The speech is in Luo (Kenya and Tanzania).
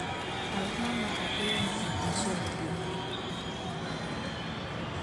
Auma Mckakeyo ne en achiel kuomgi.